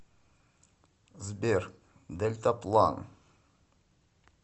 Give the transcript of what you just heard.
сбер дельтаплан